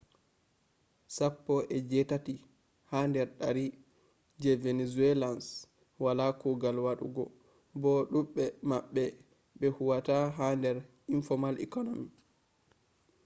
sappo e jetati ha dar dari je venezuelans wala kugal wadugo bo dubbe mabbe be huwata ha dar informal economy